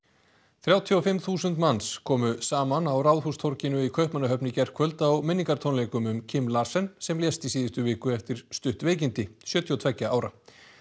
þrjátíu og fimm þúsund manns komu saman á Ráðhústorginu í Kaupmannahöfn í gærkvöld á minningartónleikum um Kim Larsen sem lést í síðustu viku eftir stutt veikindi sjötíu og tveggja ára